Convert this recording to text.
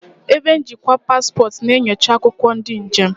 Ebe njikwa paspọtụ na-enyocha akwụkwọ ndị njem.